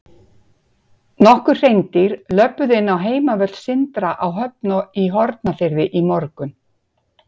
Nokkur hreindýr löbbuðu inn á heimavöll Sindra á Höfn í Hornafirði í morgun.